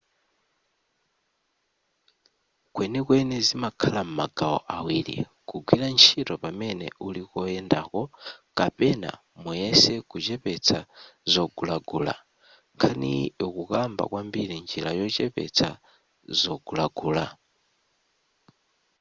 kwenikweni zimakhala m'magawo awiri kugwira ntchito pamene uli koyendako kapena muyese kuchepesa zogulagula nkhaniyi ikukamba kwambiri njira yochepetsa zogulagula